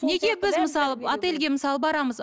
неге біз мысалы отельге мысалы барамыз